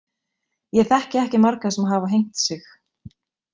Ég þekki ekki marga sem hafa hengt sig.